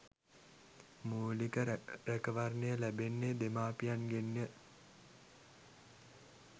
මූලික රැකවරණය ලැබෙන්නේ දෙමාපියන්ගෙන් ය.